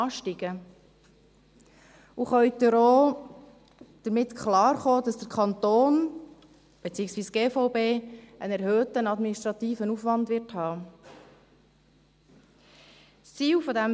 Und können Sie auch damit klarkommen, dass der Kanton, beziehungsweise die GVB, einen erhöhten administrativen Aufwand haben wird?